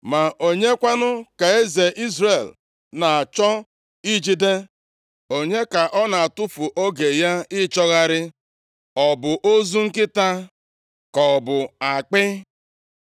“Ma onye kwanụ ka eze Izrel na-achọ ijide? Onye ka ọ na-atụfu oge ya ịchọgharị? Ọ bụ ozu nkịta? Ka ọ bụ akpị?